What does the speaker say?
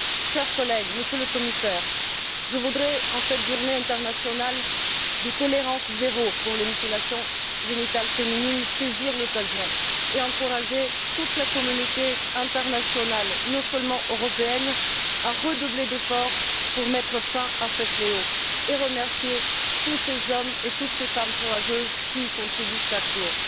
Chers collègues, Monsieur le Commissaire, je voudrais, en cette journée internationale de tolérance zéro contre les mutilations génitales féminines, saisir l'occasion pour encourager toute la communauté internationale, pas seulement européenne, à redoubler d'efforts pour mettre fin à ce fléau et remercier tous ces hommes et toutes ces femmes courageuses qui y contribuent chaque jour.